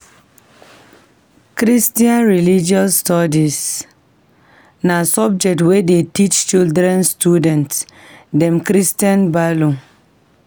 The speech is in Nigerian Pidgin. Christian Religious Studies na subject wey dey teach children student dem Christian values.